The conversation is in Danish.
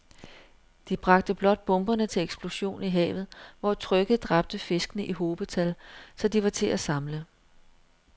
De bragte blot bomberne til eksplosion i havet, hvor trykket dræbte fiskene i hobetal, så de var til at samle